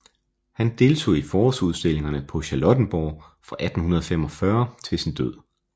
Han deltog i forårsudstillingerne på Charlottenborg fra 1845 til sin død